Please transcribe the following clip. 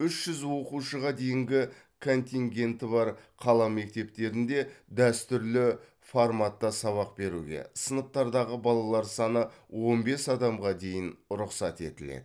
үш жүз оқушыға дейінгі контингенті бар қала мектептерінде дәстүрлі форматта сабақ беруге сыныптардағы балалар саны он бес адамға дейін рұқсат етіледі